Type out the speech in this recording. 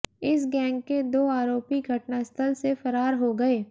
इस गैंग के दो आरोपी घटनास्थल से फरार हो गए